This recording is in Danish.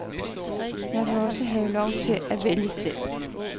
Jeg vil også godt have lov til at vælge selv.